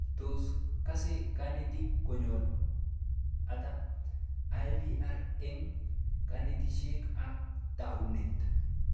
Tos kase kanetik konyil ata IVR eng' kanetishet ab taunet